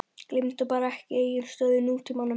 Gleymdu bara ekki eigin stöðu í nútímanum.